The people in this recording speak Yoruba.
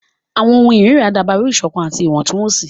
Àwọn ohùn irira dabaru iṣọkan ati iwọntunwọnsi.